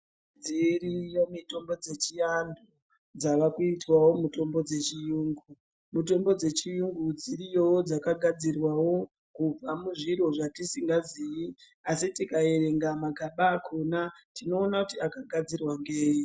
Dziriyo mitombo dzechiantu, dzavakuitwawo mitombo dzechiyungu. Mitombo dzechiyungu dziriyowo dzakagadzirwawo ,kubva muzviro zvatisingaziyi , asi tikaerenga magaba akhona, tinoona kuti akagadzirwa ngeyi.